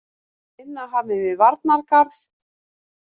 Vinna hafin við varnargarð